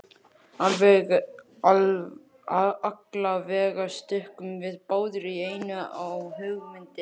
Allavega stukkum við báðir í einu á hugmyndina.